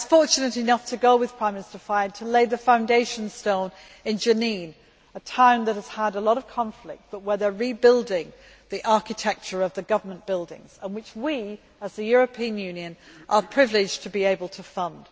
I was fortunate enough to go with Prime Minister Fayyad to lay the foundation stone in Jenin, a town that has seen a lot of conflict but where they are rebuilding the architecture of the government buildings and which we, as the European Union, are privileged to be able to fund.